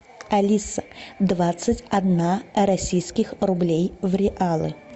алиса двадцать одна российских рублей в реалы